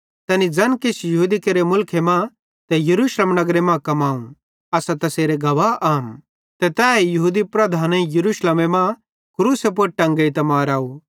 तैनी ज़ैन किछ यहूदी केरे मुलखे मां ते यरूशलेम नगरे मां कमाव असां तैसेरे गवाह आम ते तैए यहूदी लीडरेईं यरूशलेमे मां क्रूसे पुड़ टेंगेइतां माराव